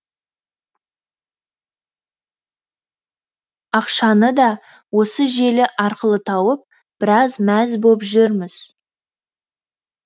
ақшаны да осы желі арқылы тауып біраз мәз боп жүрміз